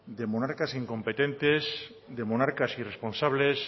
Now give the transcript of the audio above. de monarcas incompetentes de monarcas irresponsables